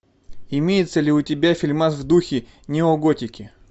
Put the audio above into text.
имеется ли у тебя фильмас в духе неоготики